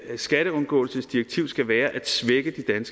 skatteundgåelsesdirektiv skal være at svække